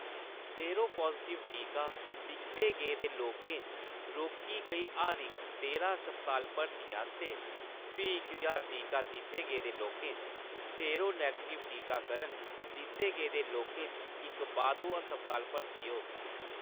Sero positive टीका दित्ते गेदे लोकें च रोकी गेई हर इक तेरां अस्पताल भर्तियें आस्तै, फी इक ज्हार टीका दित्ते गेदे लोकें च, सेरो निगेटिव टीकाकरण दित्ते गेदे लोकें च इक बाद्धू अस्पताल भर्ती होग।